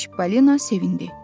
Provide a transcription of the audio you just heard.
Çipollina sevindi.